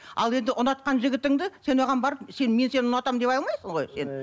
ал енді ұнатқан жігітіңді сен оған барып сен мен сені ұнатамын дей алмайсың ғой